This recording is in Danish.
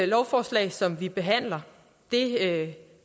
lovforslag som vi behandler